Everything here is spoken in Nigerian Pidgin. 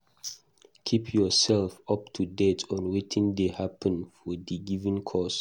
Keep yourself up to date on wetin dey happen for di given cause